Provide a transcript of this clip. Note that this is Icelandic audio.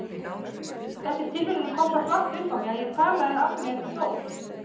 Þessi tilviljun kom svo flatt upp á mig að ég talaði af mér um Dór.